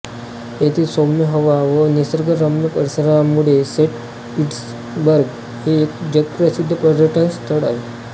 येथील सौम्य हवा व निसर्गरम्य परिसरामुळे सेंट पीटर्सबर्ग हे एक जगप्रसिद्ध पर्यटनस्थळ आहे